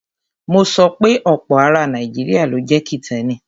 Mo sọ pe ọ̀pọ̀ ara Nàìjíríà ló jẹ́ Kìtẹ́ẹ́nì.